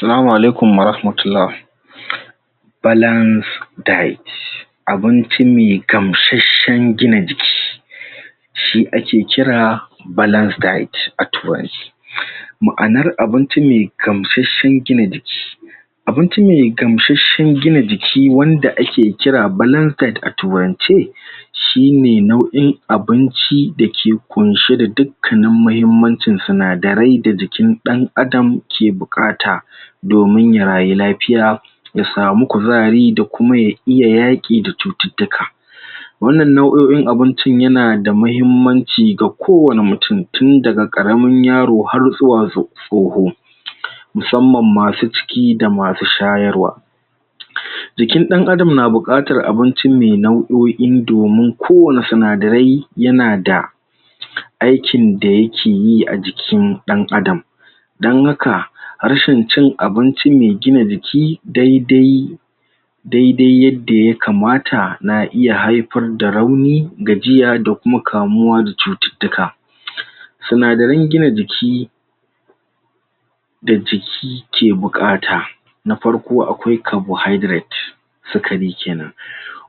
Salamu alaikum warahmatullah balance diet abinci mai gamsashen gina jiki shi ake kira balance diet a turance ma'anar abinci mai gamsashen gina jiki abinci mai gamsashen gina jiki wanda ake kira balance diet a turance shi ne nau'in abinci da ke ƙunshe da duk kanin mahimmancin sinadarai da jikin ɗan'adam ke buƙata domin ya rayu lafiya ya samu kuzari da kuma ya iya yaƙi da cututtuka wannan nau'oin abinci yana da mahimmanci ga ko wani mutun tun daga ƙaramin yaro har zuwa tsoho musamman masu ciki da masu shayarwa jikin ɗan'adan na buƙatar abinci mai nau'oi domin kowani sinadarai yana da aikin da yake yi a jikin ɗan'adam dan haka rashin cin abinci mai gina jiki daidai daidai yadda yakamata na iya haifar da rauni gajiya da kuma kamuwa da cututtuka sinadaran gina jiki da jiki ke buƙata na farko, akwai carbohydrate sukari kenan,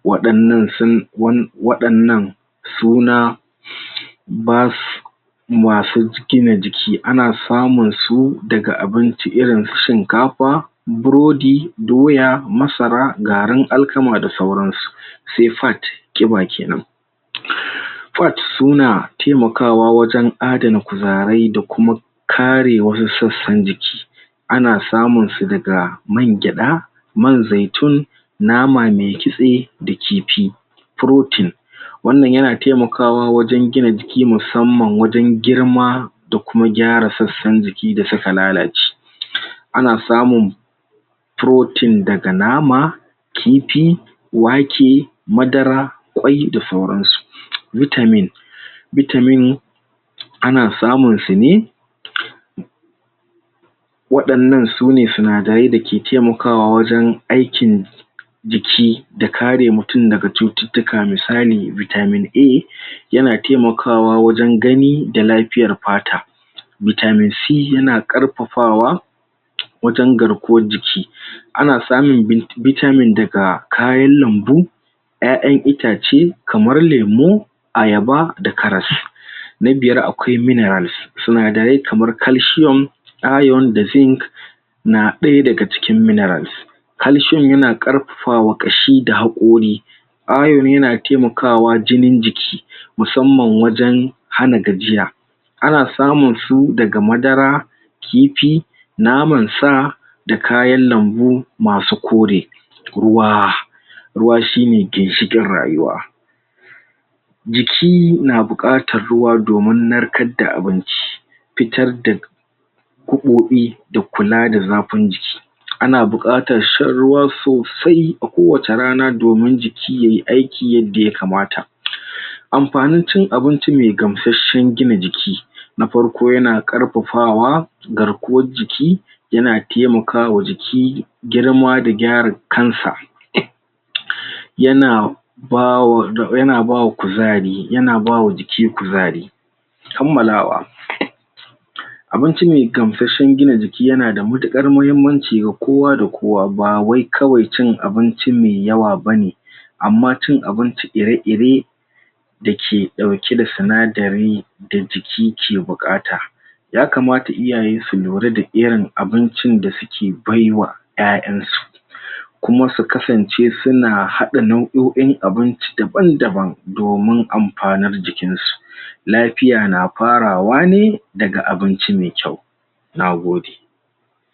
waɗannan sun waɗannan suna basu masu gina jiki ana samun su daga abinci irin su shinkafa burodi, doya, masara, garin alkama da sauran su sai fat ƙiba kenan fats suna taimakawa wajen adana kuzarai da kuma kare wasu sassan jiki ana samun su daga man gyaɗa man zaitun nama mai kitse da kifi protein wannan yana taimakawa wajen gina jiki musamman wajen girma da kuma gyara sassan jiki da suka lalace ana samun protein daga nama kifi, wake, madara ƙwai da sauran su, vitamin vitamin ana samun su ne waɗannan sune sinadarai da ke taimakawa wajen aikin jiki da kare mutun daga cututtuka misali, vitamin A yana taimakawa wajen gani da lafiyar fata vitamin C yana ƙarfafawa wajen garkuwar jiki ana samun vitamin daga kayan lambu ƴaƴan itace kamar lemu ayaba da karas na biyar akwai minerals sinadarai kamar calcium iron da zinc na ɗaya daga cikin minerals calcium yana ƙarfafa wa ƙashi da haƙori iron yana taimakawa jinin jiki musamman wajen hana gajiya ana samun su daga madara kifi, naman sa da kayan lambu masu kore ruwa ruwa shi ne ginshiƙin rayuwa jiki na buƙatar ruwa domin narkar da abinci fitar da gaɓoɓi da kula da zafin jiki ana buƙatar shan ruwa sosai a kowacce rana domin jiki yai aiki yadda yakamata amfanin cin abinci mai gamsashen gina jiki na farko yana ƙarfafa wa garkuwar jiki yana taimakawa jiki, girma da gyara kan sa yana ba wa yana bawa kuzari yana ba wa jiki kuzari kammalawa abinci mai gamsashen gina jiki yana da matuƙar mahimmanci ga kowa da kowa ba wai kawai cin abinci mai yawa bane amma cin abinci ire-ire da ke ɗauke da sinadari da jiki ke buƙata yakamata iyaye su lura da irin abincin da suke baiwa ƴaƴan su kuma su kasance suna haɗa nau'oin abinci daban-daban domin amfanin jikin su lafiya na farawa ne daga abinci mai kyau na gode.